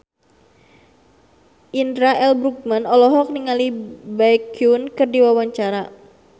Indra L. Bruggman olohok ningali Baekhyun keur diwawancara